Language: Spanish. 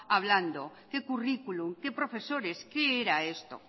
hablando qué currículum qué profesores qué era esto